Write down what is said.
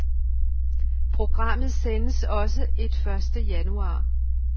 Programmet sendes også et første januar.